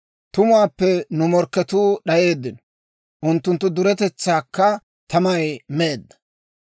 ‹Tumuwaappe nu morkketuu d'ayeeddino; unttunttu duretetsaakka tamay meedda›.